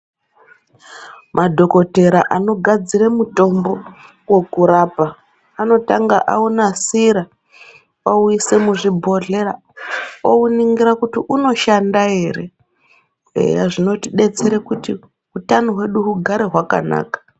Madhokotera anogadzira mutombo wokurapa anotanga aunasira ouise muzvibhodhlera ouningira kuti inoshanda ere . Eya zvinotidetsere kuti utano hwedu hugare hwakanaka.